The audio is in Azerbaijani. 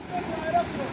Allaha qurban olum.